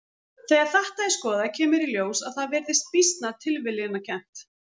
Þegar þetta er skoðað kemur í ljós að það virðist býsna tilviljanakennt.